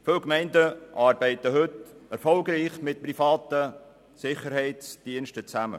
Viele Gemeinden arbeiten heute erfolgreich mit privaten Sicherheitsdiensten zusammen.